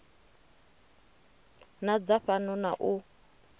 na dza fhano na u